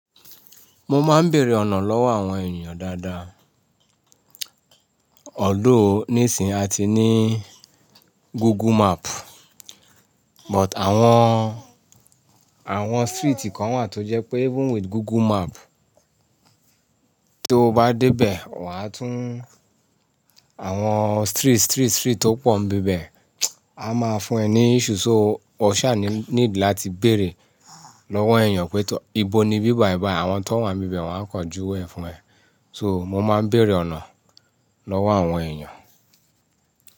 Mo máa ń bèèrè ọ̀nà lọ́wọ́ àwọn èèyàn dáadáa. Although, ní sì ń à ti ní Google Map, but àwọn, àwọn street kan wà tó jẹ́ pé even with Google Map to bá dé bẹ̀ wà á tún Àwọn street, street, street tó pọ̀ ń bíbẹ̀, a máa fún ẹ ní issue. So o ṣà ní need láti bèèrè lọ́wọ́ èèyàn pé ìbọ ni bí bài bài. Àwọn tón wà n bi bẹ̀ wọ́n á kàn júwe ẹ fún ẹ. So mo máa ń bèèrè ọ̀nà lọ́wọ́ àwọn èèyàn.